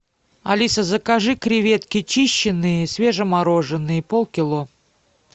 алиса закажи креветки чищеные свежемороженные полкило